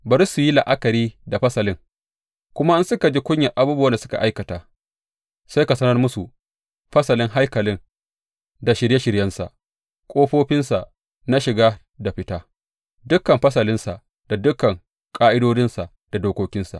Bari su yi la’akari da fasalin, kuma in suka ji kunyar abubuwan da suka aikata, sai ka sanar musu fasalin haikalin da shirye shiryensa, ƙofofinsa na shiga da fita, dukan fasalinsa da dukan ƙa’idodinsa da dokokinsa.